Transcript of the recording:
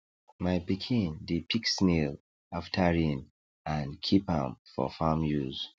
my pikin dey pick snail after rain and keep am for farm use